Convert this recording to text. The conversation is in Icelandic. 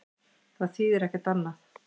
Það þýðir ekkert annað.